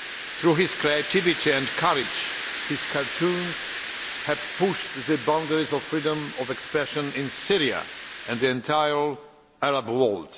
Through his creativity and courage, his cartoons have pushed the boundaries of freedom of expression in Syria and the entire Arab world.